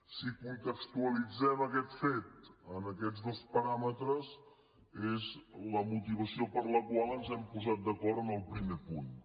si contextualitzem aquest fet en aquests dos paràmetres és la motivació per la qual ens hem posat d’acord en el primer punt